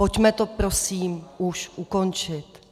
Pojďme to prosím už ukončit.